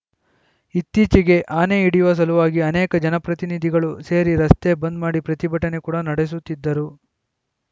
ಇತ್ತೀಚೆಗೆ ಆನೆ ಹಿಡಿಯುವ ಸಲುವಾಗಿ ಅನೇಕ ಜನಪ್ರತಿನಿಧಿಗಳು ಸೇರಿ ರಸ್ತೆ ಬಂದ್‌ ಮಾಡಿ ಪ್ರತಿಭಟನೆ ಕೂಡ ನಡೆಸಿದ್ದರು